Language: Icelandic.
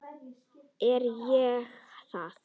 Er ég það?